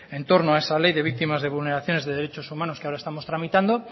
en torno a esa ley de víctimas de vulneraciones de derechos humanos que estamos tramitando